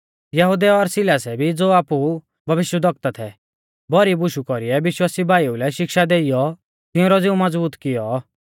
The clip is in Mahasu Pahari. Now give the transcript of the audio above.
यहुदै और सिलासै भी ज़ो आपु भविष्यवक्ता थै भौरी बुशु कौरीऐ विश्वासी भाईऊ लै शिक्षा देइयौ तिऊंरौ ज़िऊ मज़बूत कियौ